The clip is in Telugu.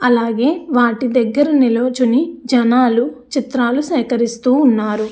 అలాగే వాటి దెగ్గర నిలుచుని జనాలు చిత్రాలు సెహకరిస్తున్నారు.